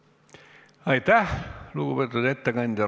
Aitäh, lugupeetud ettekandja!